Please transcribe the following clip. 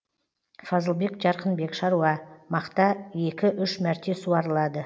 фазылбек жарқынбек шаруа мақта екі үш мәрте суарылады